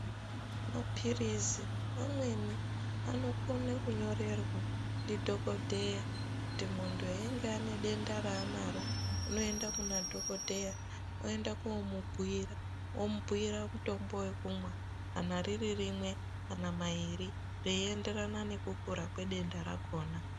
Maphirizi amweni anokone kunyorerwa ndidhogodheya kuti muntu einge ane denda raanaro unoenda kunadhogodheya, oenda koomubhuira omubhuira mutombo wekumwa. Kana riri rimwe kana mairi zveienderana nekukura kwedenda rakhona.